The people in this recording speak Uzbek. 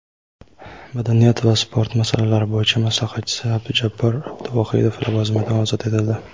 madaniyat va sport masalalari bo‘yicha maslahatchisi Abdujabbor Abduvohidov lavozimidan ozod etildi.